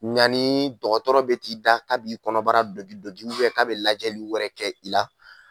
Ɲanni dɔgɔtɔrɔ bɛ t'i da k'a b'i kɔnɔbara dogi dogi k'a bɛ lajɛli wɛrɛ kɛ i la.